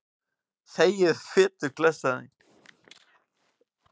Þegiðu, fituklessan þín.